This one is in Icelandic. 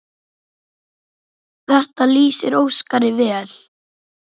Þetta lýsir Óskari vel.